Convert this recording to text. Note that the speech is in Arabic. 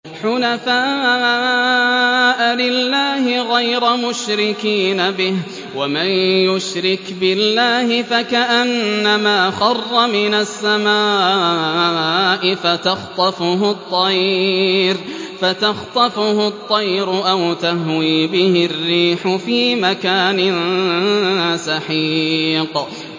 حُنَفَاءَ لِلَّهِ غَيْرَ مُشْرِكِينَ بِهِ ۚ وَمَن يُشْرِكْ بِاللَّهِ فَكَأَنَّمَا خَرَّ مِنَ السَّمَاءِ فَتَخْطَفُهُ الطَّيْرُ أَوْ تَهْوِي بِهِ الرِّيحُ فِي مَكَانٍ سَحِيقٍ